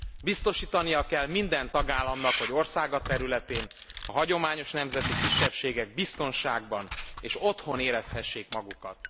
Biztosítania kell minden tagállamnak, hogy országa területén a hagyományos nemzeti kisebbségek biztonságban, és otthon érezhessék magukat.